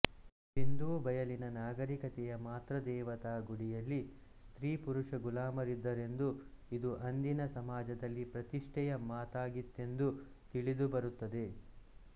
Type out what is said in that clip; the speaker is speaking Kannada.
ಸಿಂಧೂ ಬಯಲಿನ ನಾಗರಿಕತೆಯ ಮಾತೃದೇವತಾ ಗುಡಿಯಲ್ಲಿ ಸ್ತ್ರೀಪುರುಷ ಗುಲಾಮರಿದ್ದ ರೆಂದೂ ಇದು ಅಂದಿನ ಸಮಾಜದಲ್ಲಿ ಪ್ರತಿಷ್ಠೆಯ ಮಾತಾಗಿತ್ತೆಂದೂ ತಿಳಿದುಬರುತ್ತದೆ